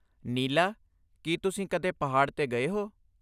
ਨੀਲਾ, ਕੀ ਤੁਸੀਂ ਕਦੇ ਪਹਾੜ 'ਤੇ ਗਏ ਹੋ?